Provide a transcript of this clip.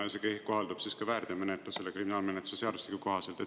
Ja see kohaldub ka väärteomenetlusele kriminaalmenetluse seadustiku kohaselt.